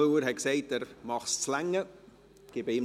Müller sagt, er mache, dass es noch reiche.